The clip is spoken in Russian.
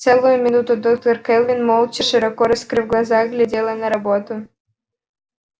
целую минуту доктор кэлвин молча широко раскрыв глаза глядела на робота